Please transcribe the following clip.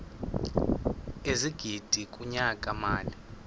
ezigidi kunyaka mali